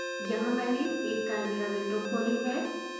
यहाँ मैंने एक chimera विंडो खोली है